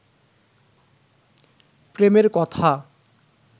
প্রেমের কথা